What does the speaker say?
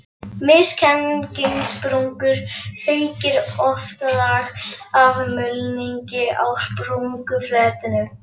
Misgengissprungum fylgir oft lag af mulningi á sprungufletinum.